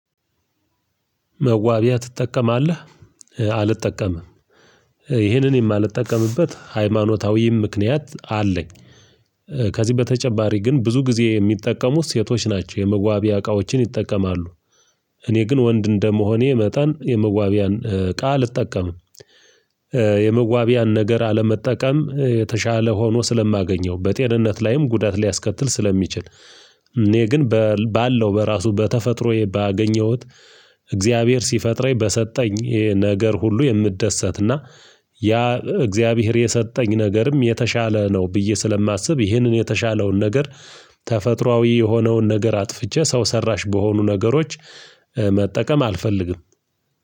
መዋቢያ ትጠቀማለህ አልጠቀምም ይህንን የማልጠቀምበት ሃይማኖታዊም ምክንያት አለኝ። ከዚህ በተጨማሪ ግን ብዙ ጊዜ የሚጠቀሙት ሴቶች ናቸው የመዋቢያ እቃዎችን ይጠቀማሉ። እኔ ግን ወንድ እንደመሆኔ መጠን የመዋቢያን እቃ አልጠቀምም። የመዋቢያን ነገር አለመጠቀም የተሻለ ሆኖ ስለማገኘው በጤንነት ላይም ጉዳት ሊያስከትል ስለሚችል እኔ ግን ባለው በራሱ በተፈጥሮዬ ባገኘሁት። እግዚአብሔር ሲፈጥረኝ በሰጠኝ ነገር ሁሉ የምደሰትና ያ እግዚአብሔር የሰጠኝ ነገርም የተሻለ ነው ብዬ ስለማስብ ይህንን የተሻለውን ነገር። ተፈጥሮአዊ የሆነውን ነገር አጥፍቼ ሰው ሰራሽ በሆኑ ነገሮች መጠቀም አልፈልግም።